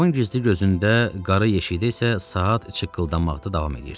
Dolabın gizli gözündə, qarı yeşiyində isə saat çikkıldamaqda davam edirdi.